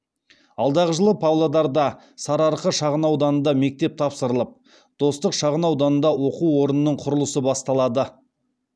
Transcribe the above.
алдағы жылы павлодарда сарыарқа шағын ауданында мектеп тапсырылып достық шағын ауданында оқу орнының құрылысы басталады